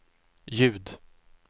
ljud